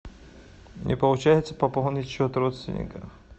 не получается пополнить счет родственника